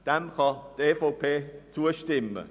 Diesem kann die EVP zustimmen.